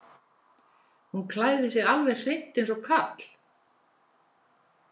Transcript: Hún klæðir sig alveg hreint eins og karl.